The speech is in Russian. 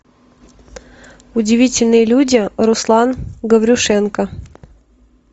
удивительные люди руслан гаврюшенко